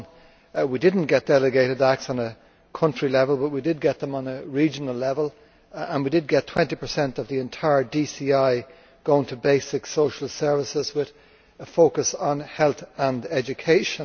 1. We did not get delegated acts at a country level, but we did get them on a regional level and we did get 20 of the entire DCI going to basic social services with a focus on health and education.